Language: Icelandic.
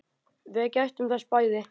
Við gættum þess bæði.